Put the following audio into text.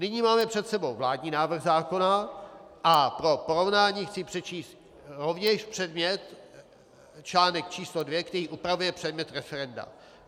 Nyní máme před sebou vládní návrh zákona a pro porovnání chci přečíst rovněž předmět - článek číslo 2, který upravuje předmět referenda.